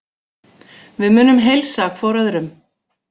Við munum heilsa hvor öðrum.